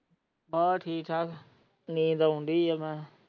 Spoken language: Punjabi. ਹਾਂ ਠੀਕ ਹੈ ਨੀਂਦ ਆਉਣ ਡਾਇ ਹੈ ਮੈਨੂੰ।